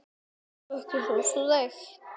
Ertu ekkert svo þreytt?